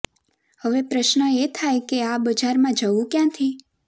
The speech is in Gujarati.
હવે પ્રશ્ન એ થાય છે કે આ બજારમાં જવું ક્યાંથી